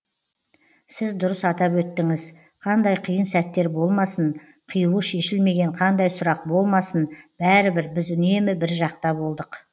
сіз дұрыс атап өттіңіз қандай қиын сәттер болмасын қиюы шешілмеген қандай сұрақ болмасын бәрібір біз үнемі бір жақта болдық